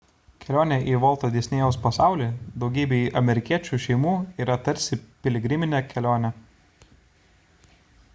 kelionė į volto disnėjaus pasaulį daugybei amerikiečių šeimų yra tarsi piligriminė kelionė